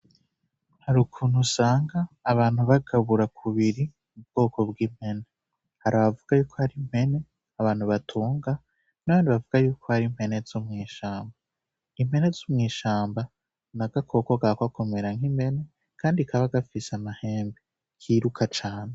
Hari ukuntu usanga abantu bagabura kubiri u bwoko bw'impene hari avuga yuko hari impene abantu batunga none bavuga yuko hari mpene zo mw'ishamba impene z'umw'ishamba na gakoko gako akomera nk'impene, kandi kaba gafise amahembe kiruka cane.